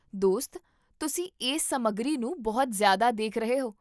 ਦੋਸਤ, ਤੁਸੀਂ ਇਸ ਸਮੱਗਰੀ ਨੂੰ ਬਹੁਤ ਜ਼ਿਆਦਾ ਦੇਖ ਰਹੇ ਹੋ